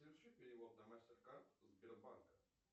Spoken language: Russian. соверши перевод на мастеркард сбербанка